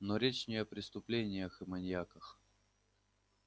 но речь не о преступлениях и маньяках